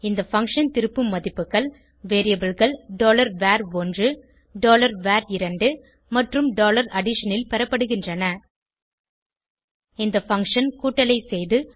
இந்த பங்ஷன் திருப்பும் மதிப்புகள் variableகள் var1 var2 மற்றும் addition ல் பெறப்படுகின்றன இந்த பங்ஷன் கூட்டலை செய்து